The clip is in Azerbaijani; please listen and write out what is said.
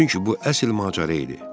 Çünki bu əsl macəra idi.